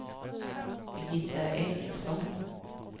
Birgitta Ericsson